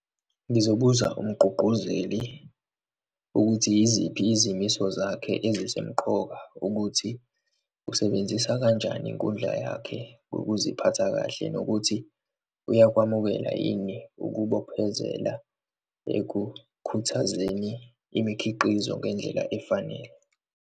Ngizobuza umgqugquzeli ukuthi yiziphi izimiso zakhe ezisemqoka ukuthi, usebenzisa kanjani inkundla yakhe, ukuziphatha kahle nokuthi uyakwamukela yini ukubophezela ekukhuthazeni imikhiqizo ngendlela efanele.